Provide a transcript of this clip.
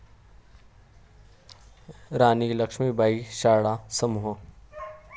राणी लक्ष्मीबाई शाळा समूह